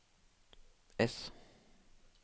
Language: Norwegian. S